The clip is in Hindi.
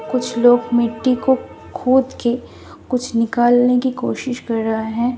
कुछ लोग मिट्टी को खोद के कुछ निकालने की कोशिश कर रहा हैं।